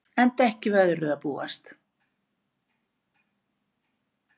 Enda ekki við öðru að búast